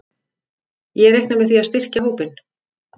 Ég reikna með því að styrkja hópinn.